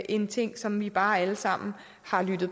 en ting som vi bare alle sammen har lyttet